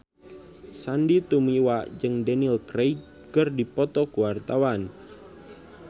Sandy Tumiwa jeung Daniel Craig keur dipoto ku wartawan